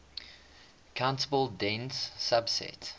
countable dense subset